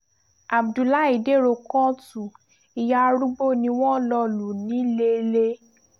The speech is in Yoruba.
abdullahi dèrò kóòtù ìyá arúgbó ni wọ́n lọ lu niléelé